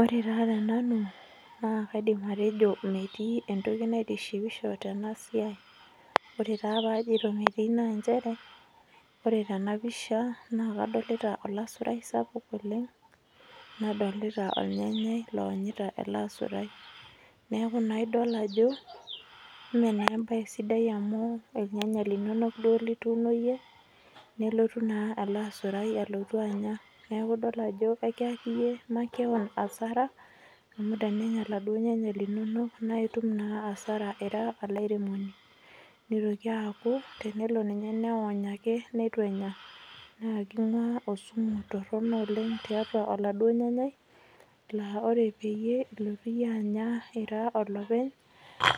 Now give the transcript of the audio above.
Ore taa tenanu naa kaidim atejo metii entoki naitishipisho tena siai ore taa pajito metii naa nchere ore tena pisha naa kadolita olasurai sapuk oleng nadolita olnyanyai lowonyita ele asurai neeku naa idol ajo mee naa embaye sidai amu ilnyanya linonok duo lituuno iyie nelotu naa ele asurai alotua anya neeku idol ajo ekiyaki iyie makewon asara amu tenenya iladuo nyanya linonok naa itum naa asara ira olairemoni nitoki aaku tenelo ninye newony ake netu enya naa king'ua osumu torrono oleng tiatua oladuo nyanyai laa ore peyie ilotu iyie anya ira olopeny